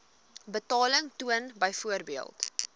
betaling toon byvoorbeeld